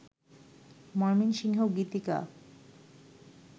Mymensingh Gitika